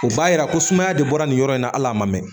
U b'a yira ko sumaya de bɔra nin yɔrɔ in na hali a ma mɛn